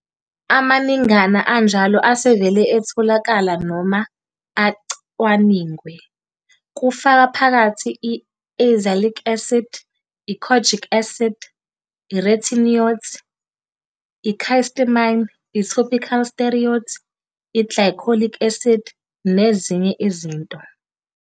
Amaningana anjalo asevele etholakala noma acwaningwe, kufaka phakathi i-azelaic acid, i-kojic acid, i'retinoids, i-cysteamine, i-topical steroids, i'glycolic acid, nezinye izinto.